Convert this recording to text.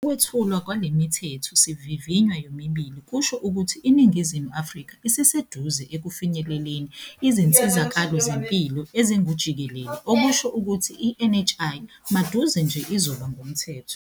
Ukwethulwa kwale Mithetho sivivinywa yomibili kusho ukuthi iNingizimu Afrika isiseduze ekufinyeleleni izinsizakalo zempilo ezingujikelele okusho ukuthi i-NHI maduze nje izoba ngumthetho.